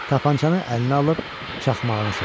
Tapancanı əlinə alıb çaxmağını çəkdi.